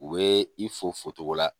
U bɛ i fo focogo la